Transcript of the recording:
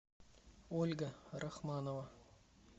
ольга рахманова